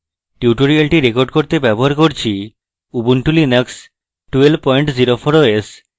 tutorial record করতে ব্যবহার করছি আমি ubuntu linux 1204 os